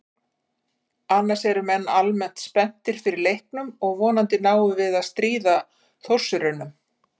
Annars eru menn almennt spenntir fyrir leiknum og vonandi náum við að stríða Þórsurunum.